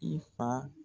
I fa